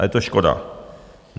A je to škoda.